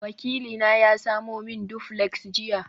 wakilina ya samo min duplex jiya